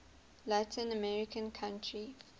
latin american country